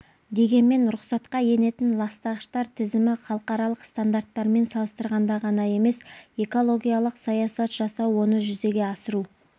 дегенмен рұқсатқа енетін ластағыштар тізімі халықаралық стандарттармен салыстырғанда ғана емес экологиялық саясат жасау оны жүзеге асыру